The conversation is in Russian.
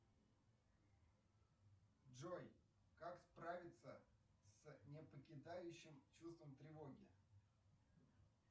джой как справиться с не покидающим чувством тревоги